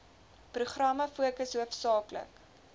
programme fokus hoofsaaklik